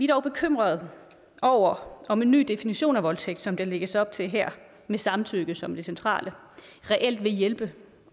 dog bekymret over om en ny definition af voldtægt som der lægges op til her med samtykke som det centrale reelt vil hjælpe